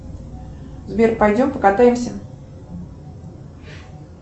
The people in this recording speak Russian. сбер пойдем покатаемся